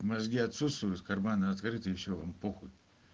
мозги отсутствуют в карманы открыты и все вам похуй